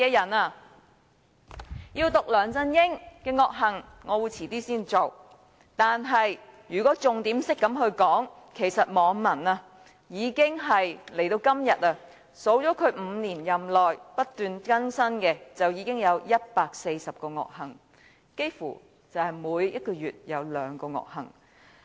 我稍後才會讀出梁振英的惡行，但如以重點來說，其實網民已數算他5年任內不斷更新的惡行，至今已有140項，幾乎每個月也有兩宗惡行。